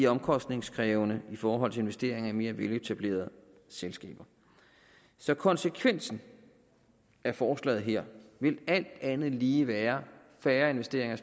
omkostningskrævende i forhold til investeringer i mere veletablerede selskaber så konsekvensen af forslaget her vil alt andet lige være færre investeringer